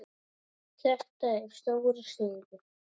Þetta er stóra sviðið.